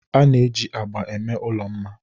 a na-eji agba eme ụlọ mma